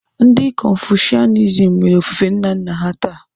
Ndị Konfushianism mere ofufe nna nna ha taa.